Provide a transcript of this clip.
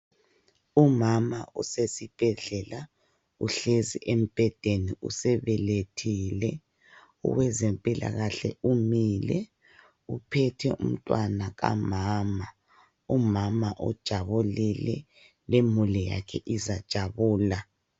Umama usesibhedlela uhlezi embhedeni usebelethile. Owezempilakahle umile uphethe umntwana kamama. Umama ujabulile, lemuli yakhe izajabula.